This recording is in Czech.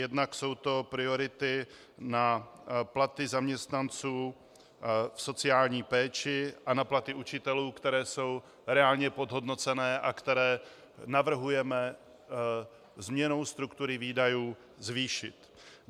Jednak jsou to priority na platy zaměstnanců v sociální péči a na platy učitelů, které jsou reálně podhodnocené a které navrhujeme změnou struktury výdajů zvýšit.